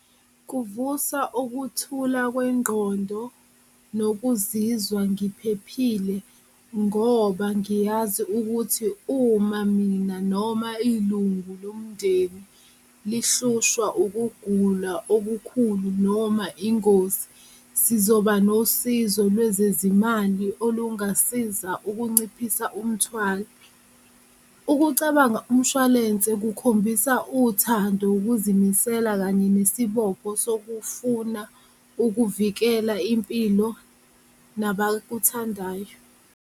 Kuvusa ukuthula kwengqondo nokuzizwa ngiphephile ngoba ngiyazi ukuthi uma mina noma ilungu lomndeni lihlushwa ukugula okukhulu noma ingozi sizoba nosizo lwezezimali olungasiza ukunciphisa umthwalo. Ukucabanga umshwalense kukhombisa uthando ukuzimisela kanye nesibopho sokufuna ukuvikela impilo nabakuthandayo.